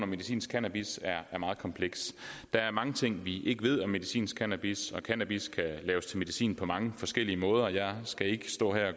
medicinsk cannabis er meget kompleks der er mange ting vi ikke ved om medicinsk cannabis og cannabis kan laves til medicin på mange forskellige måder jeg skal ikke stå her